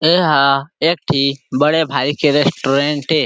एहा एकठी बड़े भाई के रेस्टुरेंट ए।